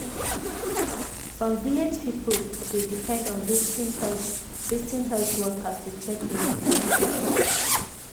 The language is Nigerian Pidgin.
some village people dey depend on visiting health visiting health workers to check dem steady.